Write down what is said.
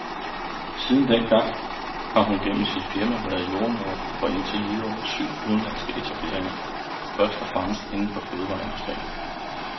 Siden dengang har hun gennem sit firma været jordemoder for indtil videre syv udenlandske etableringer, først og fremmest inden for fødevareindustrien.